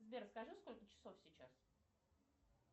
сбер скажи сколько часов сейчас